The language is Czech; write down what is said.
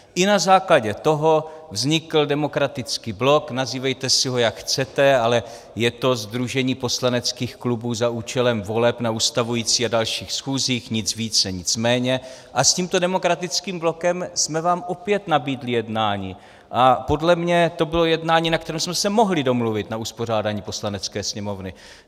I na základě toho vznikl Demokratický blok, nazývejte si ho, jak chcete, ale je to sdružení poslaneckých klubů za účelem voleb na ustavující a dalších schůzích, nic více, nic méně, a s tímto Demokratickým blokem jsme vám opět nabídli jednání, a podle mě to bylo jednání, na kterém jsme se mohli domluvit na uspořádání Poslanecké sněmovny.